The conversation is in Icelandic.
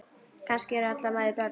Kannski eru allar mæður börn.